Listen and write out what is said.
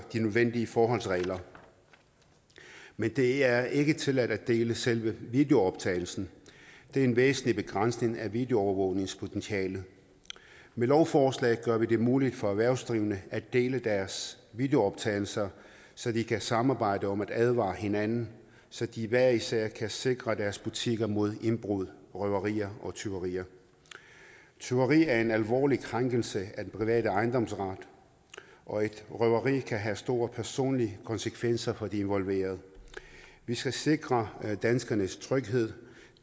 de nødvendige forholdsregler men det er ikke tilladt at dele selve videooptagelsen det er en væsentlig begrænsning af videoovervågningspotentialet med lovforslaget gør vi det muligt for erhvervsdrivende at dele deres videooptagelser så de kan samarbejde om at advare hinanden så de hver især kan sikre deres butikker mod indbrud røverier og tyverier tyveri er en alvorlig krænkelse af den private ejendomsret og et røveri kan have store personlige konsekvenser for de involverede vi skal sikre danskernes tryghed